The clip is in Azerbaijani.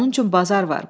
Onun üçün bazar var.